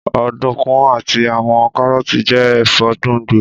Ọdunkun ati awọn Karooti jẹ ẹfọ gbongbo